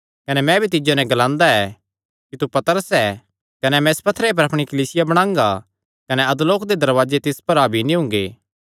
कने मैं भी तिज्जो नैं ग्लांदा ऐ कि तू पतरस ऐ कने मैं इस पत्थरे पर अपणी कलीसिया बणांगा कने अधोलोक दे दरवाजे तिस पर हावी नीं हुंगे